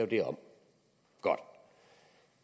det om godt